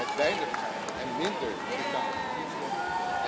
en weinig en minder sociale voorzieningen hebben.